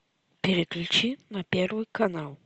переключи на первый канал